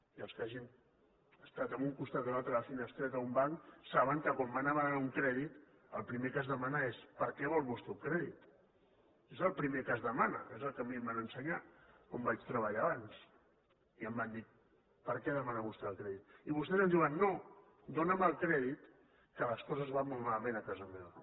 i els que hagin estat a un costat o altre de la finestreta d’un banc saben que quan van a demanar un crèdit el primer que es demana és per a què vol vostè un crèdit és el primer que es demana és el que a mi em van ensenyar on vaig treballar abans i em van dir per a què demana vostè el crèdit i vostès ens diuen no dóna’m el crèdit que les coses van molt malament a casa meva